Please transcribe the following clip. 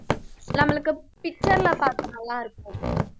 நம்மளுக்கு picture ல பார்ப்போம், நல்லா இருக்கும்